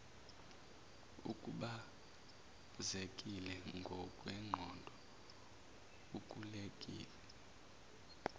ukhubazekile ngokwengqondo uqulekile